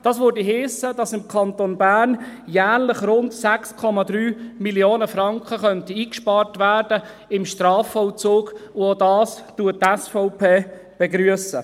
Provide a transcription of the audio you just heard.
Das würde heissen, dass im Kanton Bern im Strafvollzug jährlich rund 6,3 Mio. Franken eingespart werden könnten, und auch dies begrüsst die SVP.